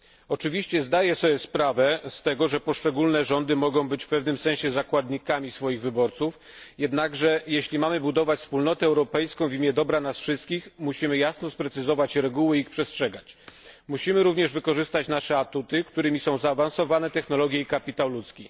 Oczywiście zdaję sobie sprawę z tego, że poszczególne rządy mogą być w pewnym sensie zakładnikami swoich wyborców, jednakże jeśli mamy budować Wspólnotę Europejską w imię dobra nas wszystkich, musimy jasno sprecyzować reguły i ich przestrzegać. Musimy również wykorzystać nasze atuty, którymi są zaawansowane technologie i kapitał ludzki.